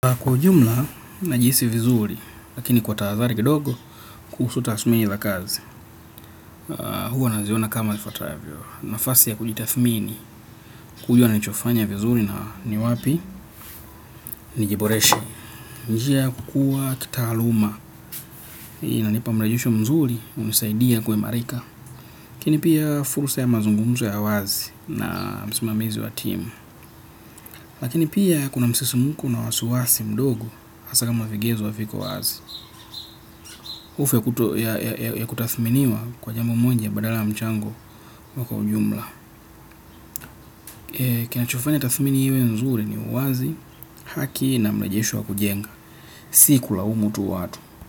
Kwa ujumla na jihisi vizuri, lakini kwa tahadhari kidogo kuhusu tasmini za kazi. Huwa naziona kama ifatavyo, nafasi ya kujitathmini kujua nichofanya vizuri na ni wapi? Nijiboreshe. Njia ya kukua kitaaluma. Inanipa mrejesho mzuri hunisaidia kuimarika. Lakini pia fursa ya mazungumzo ya wazi na msimamizi wa timu. Lakini pia kuna msisimko na wasiwasi mdogo hasa kama vigezo haviko wazi. Hofu ya kutathminiwa kwa jambo moja badala mchango wako kwa ujumla. Kinachofanya tathmini iwe mzuri ni uwazi, haki na mlejesho wakujenga. Siku laumu tu watu.